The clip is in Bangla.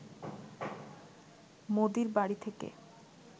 মোদির বাড়ি থেকে